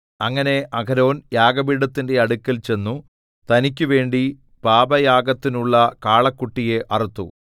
അങ്ങനെ അഹരോൻ യാഗപീഠത്തിന്റെ അടുക്കൽ ചെന്നു തനിക്കുവേണ്ടി പാപയാഗത്തിനുള്ള കാളക്കുട്ടിയെ അറുത്തു